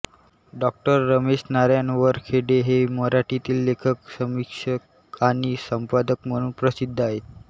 डाॅ रमेश नारायण वरखेडे हे मराठीतील लेखक समीक्षक आणि संपादक म्हणून प्रसिद्ध आहेत